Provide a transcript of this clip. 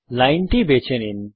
line বেছে নিন